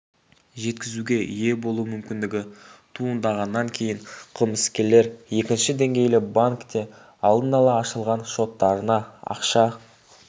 жеткізуге ие болу мүмкіндігі туындағаннан кейін қылмыскерлер екінші деңгейлі банкте алдын ала ашылған шоттарына ақша